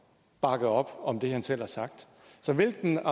bakke op om det han selv har sagt så hvilken